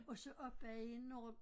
Og så op bag inde over